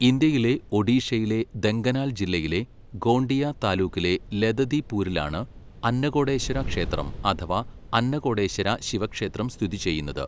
ഇന്ത്യയിലെ ഒഡീഷയിലെ ദെങ്കനാൽ ജില്ലയിലെ ഗോണ്ടിയ താലൂക്കിലെ ലതദിപൂരിലാണ് അന്നകോടേശ്വര ക്ഷേത്രം അഥവാ അന്നകോടേശ്വര ശിവ ക്ഷേത്രം സ്ഥിതിചെയ്യുന്നത്.